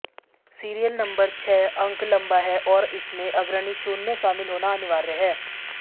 serial number छह अंक लंबा हैं और इसमें अग्रणी शून्य शामिल होना अनिवार्य है